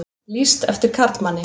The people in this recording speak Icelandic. Lýst eftir karlmanni